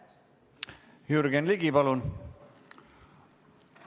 Jürgen Ligi, palun!